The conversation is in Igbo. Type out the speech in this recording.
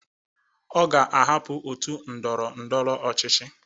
Ọ ga-ahapụ otu ndọrọ ndọrọ ọchịchị